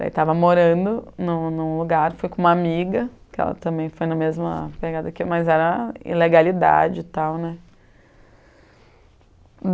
Daí, estava morando em um em um lugar, fui com uma amiga, que ela também foi na mesma pegada que eu, mas era ilegalidade e tal, né?